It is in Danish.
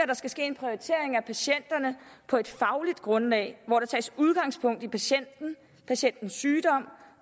der skal ske en prioritering af patienterne på et fagligt grundlag hvor der tages udgangspunkt i patienten patientens sygdom